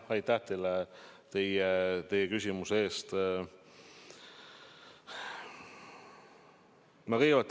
Aitäh teile küsimuse eest!